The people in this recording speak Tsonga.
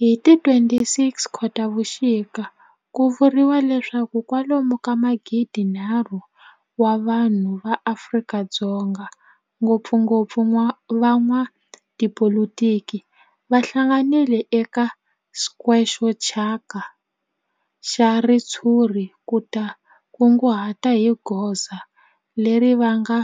Hi ti 26 Khotavuxika ku vuriwa leswaku kwalomu ka magidi-nharhu wa vanhu va Afrika-Dzonga, ngopfungopfu van'watipolitiki va hlanganile eka square xo thyaka xa ritshuri ku ta kunguhata hi goza leri va nga